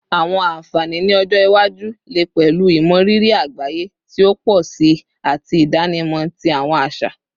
Awọn anfani ni ọjọ iwaju le pẹlu imọriri agbaye ti o pọ si ati idanimọ ti awọn aṣa